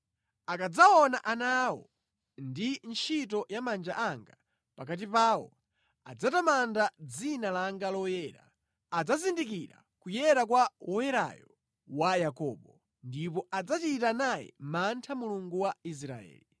Akadzaona ana awo ndi ntchito ya manja anga pakati pawo, adzatamanda dzina langa loyera; adzazindikira kuyera kwa Woyerayo wa Yakobo, ndipo adzachita naye mantha Mulungu wa Israeli.